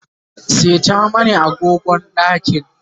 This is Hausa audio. seta mani agogon ɗakin